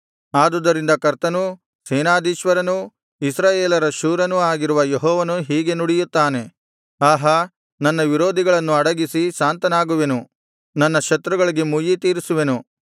ಆದುದರಿಂದ ಕರ್ತನೂ ಸೇನಾಧೀಶ್ವರನೂ ಇಸ್ರಾಯೇಲರ ಶೂರನೂ ಆಗಿರುವ ಯೆಹೋವನು ಹೀಗೆ ನುಡಿಯುತ್ತಾನೆ ಆಹಾ ನನ್ನ ವಿರೋಧಿಗಳನ್ನು ಅಡಗಿಸಿ ಶಾಂತನಾಗುವೆನು ನನ್ನ ಶತ್ರುಗಳಿಗೆ ಮುಯ್ಯಿ ತೀರಿಸುವೆನು